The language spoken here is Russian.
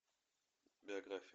биография